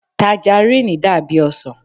Tajaríìnì dàbí ọsàn